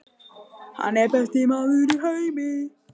Hann er besti maður í heimi.